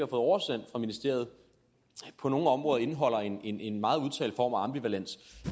oversendt fra ministeriet på nogle områder indeholder en en meget udtalt form af ambivalens